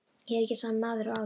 Ég er ekki sami maður og áður.